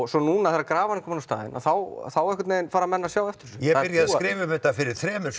svo núna þegar grafan er komin á staðinn þá þá fara menn að sjá eftir þessu ég byrjaði að skrifa um þetta fyrir þremur